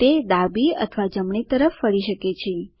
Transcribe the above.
તે ડાબી અથવા જમણી તરફ ફરી શકે છે